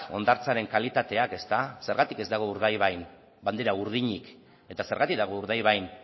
hondartzaren kalitateak zergatik ez dago urdaibain bandera urdinik eta zergatik dago urdaibain